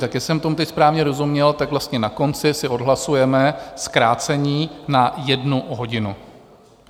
Tak jestli jsem tomu teď správně rozuměl, tak vlastně na konci si odhlasujeme zkrácení na jednu hodinu.